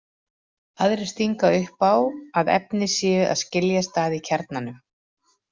Aðrir stinga upp á því að efni séu að skiljast að í kjarnanum.